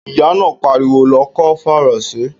Ìyá náà pariwo, "lọ kọ́ Faransé"!